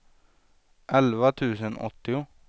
elva tusen åttio